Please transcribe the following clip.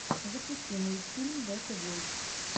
запусти мультфильм бэтэ войс